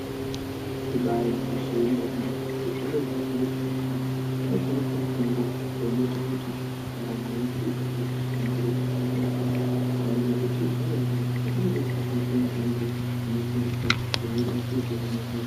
Ibari gwinyiso remene zvitoro zvinotengese mitombo zvinotengese mitombo inoita kuti ndaramo yedu igare yakahlamburika ngenyaya yekuti ndaramo kuti igare yakanaka inode kushandisa mitombo inoporesa inobatsira kuhina hosha.